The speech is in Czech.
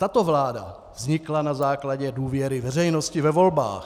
Tato vláda vznikla na základě důvěry veřejnosti ve volbách.